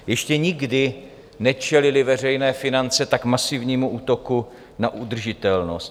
Ještě nikdy nečelily veřejné finance tak masivnímu útoku na udržitelnost.